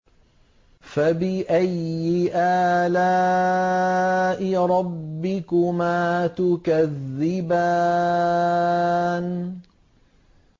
فَبِأَيِّ آلَاءِ رَبِّكُمَا تُكَذِّبَانِ